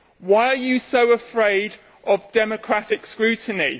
Why are you so afraid of democratic scrutiny?